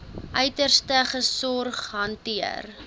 uiterste sorg hanteer